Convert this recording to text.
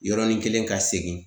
Yɔrɔnin kelen ka segin